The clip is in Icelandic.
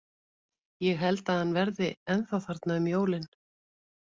Ég held að hann verði ennþá þarna um jólin.